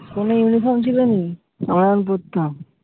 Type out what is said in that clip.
কোনো uniform ছিল নি আমরা যখন পড়তাম।